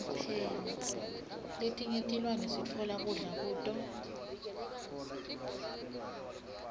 letinye tilwane sitfola kudla kuto